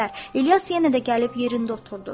İlyas yenə də gəlib yerində oturdu.